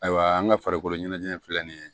Ayiwa an ka farikolo ɲɛnajɛ filɛ nin ye